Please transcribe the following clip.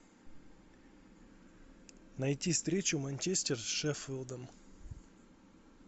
найти встречу манчестер с шеффилдом